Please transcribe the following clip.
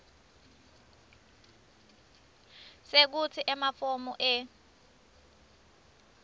sekutsi emafomu e